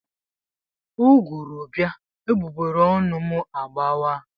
Ụgụrụ bịa, egbugbereọnụ m agbà waa.